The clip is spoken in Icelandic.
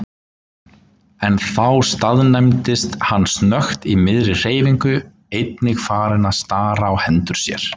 En þá staðnæmdist hann snöggt í miðri hreyfingu, einnig farinn að stara á hendur sér.